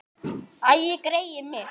Æi, greyið mitt.